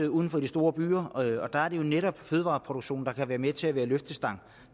og uden for de store byer og der er det jo netop fødevareproduktionen der kan være med til at være løftestang